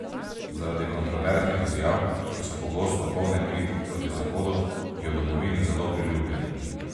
Zaradi kontroverznih izjav, ki so pogosto polne kritik proti Zahodu, je v domovini zelo priljubljen.